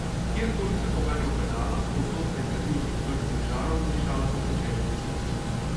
Kjerkoli sem poganjal pedala, povsod se je kadilo iz vrtnih žarov in dišalo po pečenih mesninah.